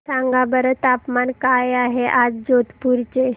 सांगा बरं तापमान काय आहे आज जोधपुर चे